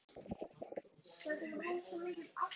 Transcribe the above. Hvernig vitið þið það?